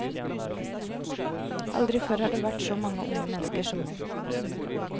Aldri før har det vært så mange unge mennesker som nå.